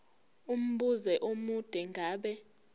umbuzo omude ngabe